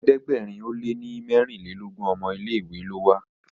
ẹ̀ẹ́dẹ̀gbẹ̀rin o lẹ ní merinlelogun ọmọ ilé ìwé ló wà.